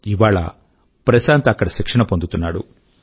ఇవాళ ప్రశాంత్ అక్కడ శిక్షణ పొందుతున్నాడు